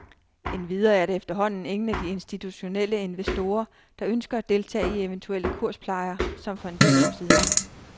Endvidere er der efterhånden ingen af de institutionelle investorer, der ønsker at deltage i eventuelle kursplejer som for en del år siden.